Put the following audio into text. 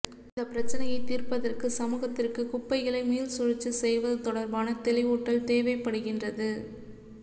இந்த பிரச்சினையை தீர்ப்பதற்கு சமூகத்திற்கு குப்பைகளை மீள்சுழற்சி செய்வது தொடர்பான தெளிவூட்டல் தேவைப்படுகின்றது